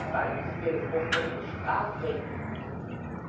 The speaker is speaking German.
Zweitens fehlt es oftmals an der strafrechtlichen Umsetzung.